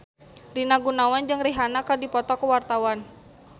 Rina Gunawan jeung Rihanna keur dipoto ku wartawan